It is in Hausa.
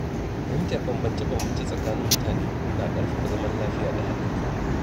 Fahimtar bambance-bambance tsakanin mutane na ƙarfafa zaman lafiya da haɗin kai.